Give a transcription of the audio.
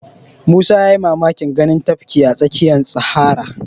Musa ya yi mamakin ganin tafki a tsakiyar sahara